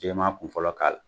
Jɛman kun fɔlɔ k'a la.